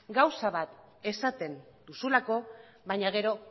gauza bat esaten duzulako baina gero